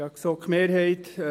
Kommissionspräsident der GSoK.